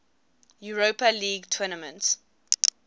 europa league tournament